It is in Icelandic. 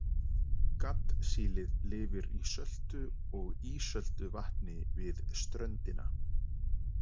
Gaddsílið lifir í söltu og ísöltu vatni við ströndina.